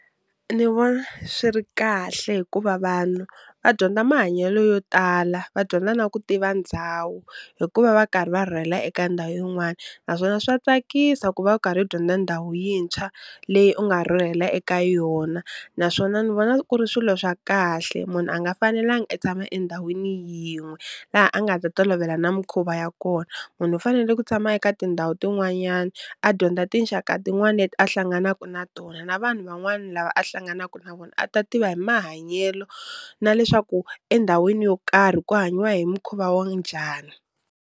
Ni vona swi ri kahle hikuva vanhu va dyondza mahanyelo yo tala, va dyondza na ku tiva ndhawu hikuva va karhi va rhurhela eka ndhawu yin'wani, naswona swa tsakisa ku va karhi u dyondza ndhawu yintshwa leyi u nga rhurhela eka yona, naswona ni vona ku ri swilo swa kahle munhu a nga fanelangi a tshama endhawini yin'we laha a nga ta tolovela na mikhuva ya kona, munhu u fanele ku tshama eka tindhawu tin'wanyana a dyondza tinxaka tin'wana leti a hlanganaka na tona na vanhu van'wana lava a hlanganaka na vona a ta tiva hi mahanyelo na leswaku endhawini yo karhi ku hanyiwa hi mukhuva wanjhani.